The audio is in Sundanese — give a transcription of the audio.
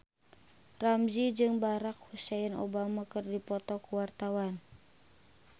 Ramzy jeung Barack Hussein Obama keur dipoto ku wartawan